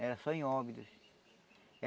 Era só em.